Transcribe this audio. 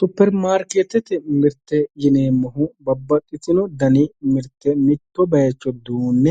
Superimaarikeetete mirteeti yineemmohu babbaxxitino mirte mitto bayiicho duunne